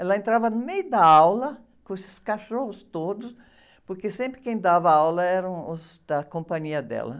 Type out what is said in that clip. Ela entrava no meio da aula com esses cachorros todos, porque sempre quem dava aula eram os da companhia dela.